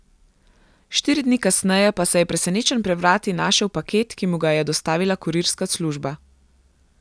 Štiri dni kasneje pa je presenečen pred vrati našel paket, ki mu ga je dostavila kurirska služba.